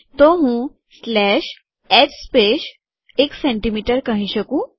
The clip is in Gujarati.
તો હું સ્લેશ એચ સ્પેસ ૧ સેમી કહી શકું